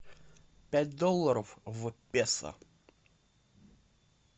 пять долларов в песо